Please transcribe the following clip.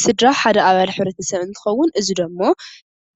ስድራ ሓደ ኣባል ሕብረተሰብ እንትኸውን እዚ ደሞ